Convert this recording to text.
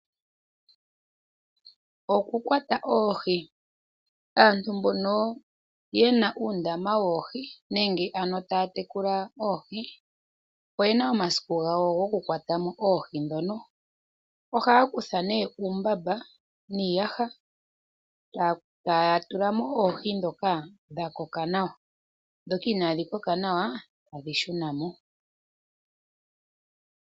Okukwata oohi, aantu mbono ye na uudama woohi nenge ano taya tekula oohi oye na omasiku gawo gokukwata mo oohi dhono. Ohaya kutha nee uumbamba nenge iiyaha taya tula mo oohi ndhoka dha koka nawa, dhoka inadhi koka nawa tadhi shuna mo.